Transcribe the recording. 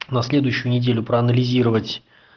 на следующую неделю проанализировать